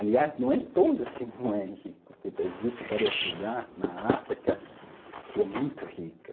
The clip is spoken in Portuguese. Aliás, não é todos que não é rico, porque existem vários lugar na África que é muito rico